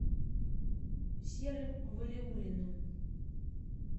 серым валиуллиным